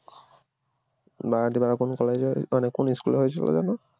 বাগাতিপাড়ার কোন college এ মানে কোন school এ হয়েছিল যেন